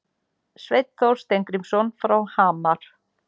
Sveinn Þór Steingrímsson frá Hamar